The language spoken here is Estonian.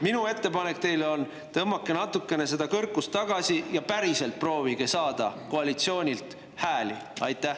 Minu ettepanek teile on, et tõmmake natukene seda kõrkust tagasi ja proovige päriselt hääli saada.